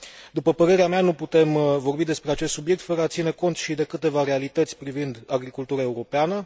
După părerea mea, nu putem vorbi despre acest subiect fără a ține cont și de câteva realități privind agricultura europeană.